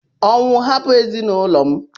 Ọnwụ! Hapụ ezinụlọ m!!